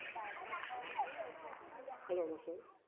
Hello Masud